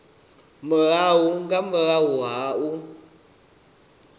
murahu nga murahu ha u